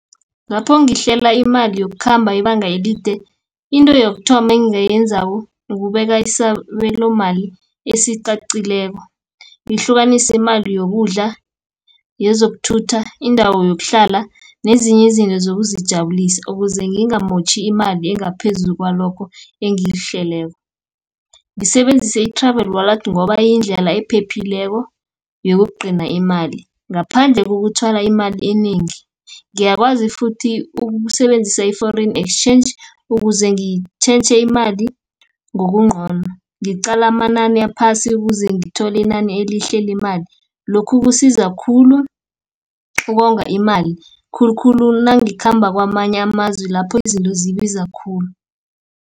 Ngapho ngihlela imali yokukhamba ibanga elide, into yokuthoma engingayenzako, ukubeka isabelo mali esiqaqileko. Ngihlukanisa imali yokudla, yezokuthutha, indawo yokuhlala, nezinye izinto zokuzijabulisa, ukuze ngingamotjhi imali engaphezu kwalokho engiyihleleko. Ngisebenzise i-Travel Wallet ngoba yindlela ephephileko yokugcina imali, ngaphandle kokuthwala imali enengi. Ngiyakwazi futhi ukusebenzisa i-Foreign Exchange, ukuze ngitjhentjhe imali ngokungcono. Ngiqala amanani aphasi ukuze ngithole inani elihle lemali, lokhu kusiza khulu ukonga imali, khulukhulu nangikhamba kwamanye amazwe lapho izinto zibiza khulu.